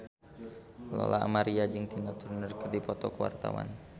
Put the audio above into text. Lola Amaria jeung Tina Turner keur dipoto ku wartawan